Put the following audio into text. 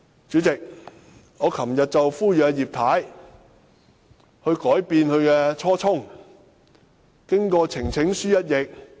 主席，我昨天呼籲葉太改變初衷，支持提交呈請書。